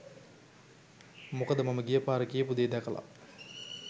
මොකද මම ගියපාර කියපු දේ දැකලා